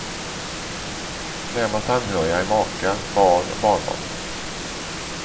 Närmast anhöriga är maka, barn och barnbarn.